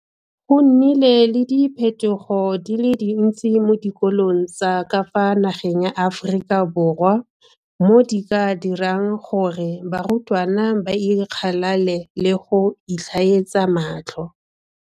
Go nnile le diphetogo di le dintsi mo dikolong tsa ka fa nageng ya Aforika Borwa mo di ka dirang gore barutwana ba ikgalale le go itlhaetsa matlho.